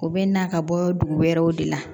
U bɛ na ka bɔ dugu wɛrɛw de la